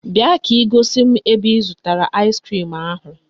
Bịa ka ị gosi m ebe ị zụtara aịskrim ahụ